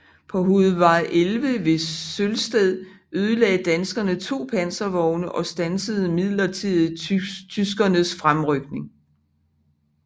På hovedvej 11 ved Sølsted ødelagde danskerne to panservogne og standsede midlertidigt tyskernes fremrykning